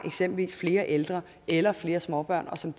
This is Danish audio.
flere ældre eller flere småbørn og som